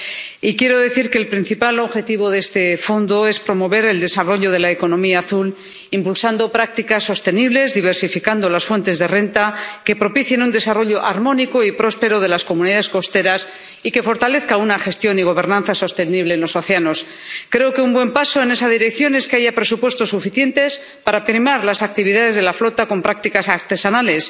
Y quiero decir que el principal objetivo de este Fondo es promover el desarrollo de la economía azul, impulsando prácticas sostenibles, diversificando las fuentes de renta que propicien un desarrollo armónico y próspero de las comunidades costeras, y fortalecer una gestión y gobernanza sostenible en los océanos. Creo que un buen paso en esa dirección es que haya presupuestos suficientes para primar las actividades de la flota con prácticas artesanales,